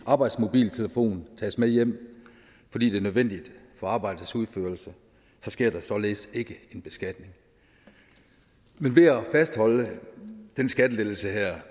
arbejdsmobiltelefonen tages med hjem fordi det er nødvendigt for arbejdets udførelse sker der således ikke en beskatning men ved at fastholde den skattelettelse her